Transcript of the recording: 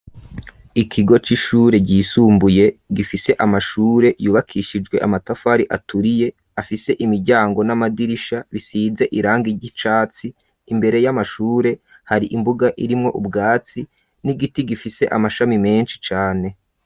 ikigo c'ishure ryisumbuye gifise amashure yubakishijwe amatafari aturiye afise imiryango n'amadirisha bisize irangi ry'icatsi imbere y'amashure hari imbuga irimwo ubwatsi n'igiti gifise amashami menshi cane.